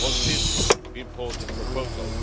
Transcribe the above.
on this important proposal.